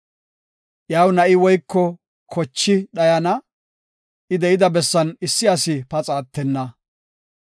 Iyaw na7i woyko kochi dhayana; I de7ida bessan issi asi paxa attenna.